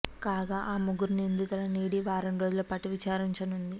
కాగా ఆ ముగ్గురు నిందితులను ఈడీ వారం రోజుల పాటు విచారించనుంది